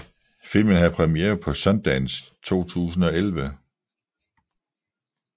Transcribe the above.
Filmen havde premiere på Sundance 2011